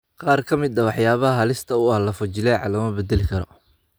Qaar ka mid ah waxyaabaha halista u ah lafo-jileeca lama beddeli karo.